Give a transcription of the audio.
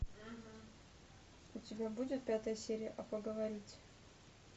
у тебя будет пятая серия а поговорить